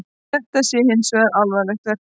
Þetta sé hins vegar alvanalegt verklag